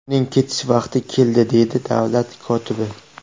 Uning ketish vaqti keldi”, deydi davlat kotibi.